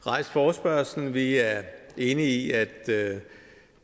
rejst forespørgslen vi er enige i at